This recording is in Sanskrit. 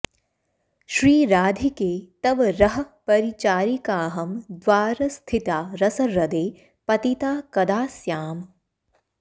श्रीराधिके तव रहःपरिचारिकाहं द्वारस्थिता रसह्रदे पतिता कदा स्याम्